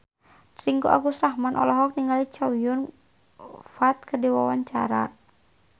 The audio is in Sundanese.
Ringgo Agus Rahman olohok ningali Chow Yun Fat keur diwawancara